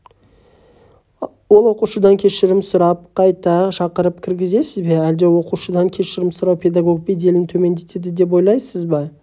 ол оқушыдан кешірім сұрап қайта шақырып кіргізесіз бе әлде оқушыдан кешірім сұрау педагог беделін төмендетеді деп ойлайсыз ба